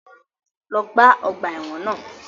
Lọ gbá ọgbà ẹ̀wọ̀n náà!